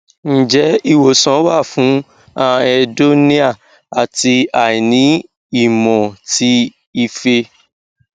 nje iwosan wa fun anhedonia ati aini imo ti ife